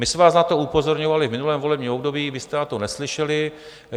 My jsme vás na to upozorňovali v minulém volebním období, vy jste na to neslyšeli.